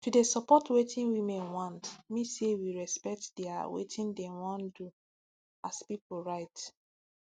to dey support wetin women want mean say we respect dia wetin dem wan do as pipu right